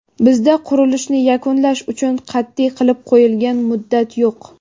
Bizda qurilishni yakunlash uchun qat’iy qilib qo‘yilgan muddat yo‘q.